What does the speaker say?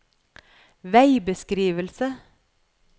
veibeskrivelse